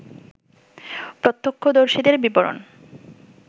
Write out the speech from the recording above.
প্রত্যক্ষদর্শীদের বিবরণ